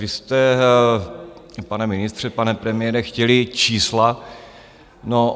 Vy jste, pane ministře, pane premiére, chtěli čísla.